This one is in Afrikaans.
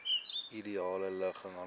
ideale ligging vanwaar